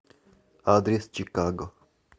адрес чикаго